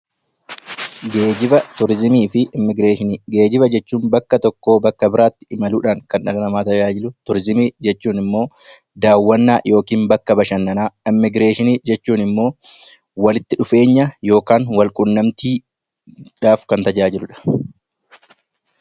Geejjiba jechuun bakka tokkoo biraatti imaluudhaan kan dhala namaa tajaajilu. Turizimii jechuun immoo daawwannaa yookiin bakka bashannanaa. Immigireeshinii jechuun immoo walitti dhufeenya yookaan wal qunnamtiidhaaf kan tajaajiludha.